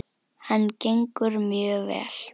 Hann gengur mjög vel.